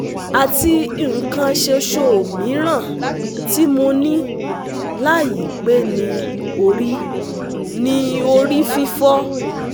Ati ikan soso mi ran ti mo ni layi pe ni ori ni ori fifo